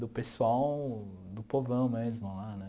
do pessoal, do povão mesmo lá, né?